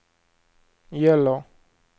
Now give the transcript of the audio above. gäller